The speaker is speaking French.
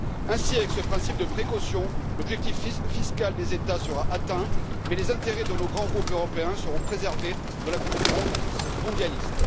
Ainsi, avec ce principe de précaution, l'objectif fiscal des États sera atteint, mais les intérêts de nos grands groupes européens seront préservés de la concurrence mondialiste.